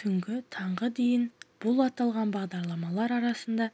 түнгі таңғы дейін бұл аталған бағдарламалар арасында